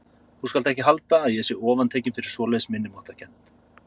Þú skalt ekki halda að ég sé ofantekinn fyrir svoleiðis minnimáttarkennd.